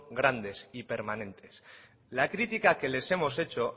grandes y permanentes la crítica que les hemos hecho